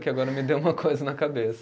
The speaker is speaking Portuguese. Que agora me deu uma coisa na cabeça.